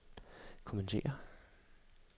kommentere